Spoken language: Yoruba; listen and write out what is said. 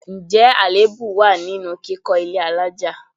Ǹjẹ́ àléébù wá nínú kíkọ ilé àlája?